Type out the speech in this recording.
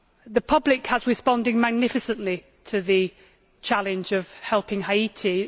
The public has responded magnificently to the challenge of helping Haiti.